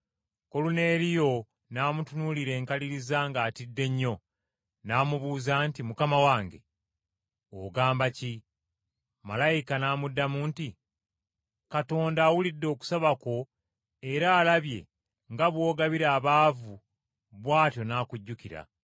Koluneeriyo n’amutunuulira enkaliriza ng’atidde nnyo. N’amubuuza nti, “Mukama wange, ogamba ki?” Malayika n’amuddamu nti, “Katonda awulidde okusaba kwo era alabye nga bw’ogabira abaavu bw’atyo n’akujjukira.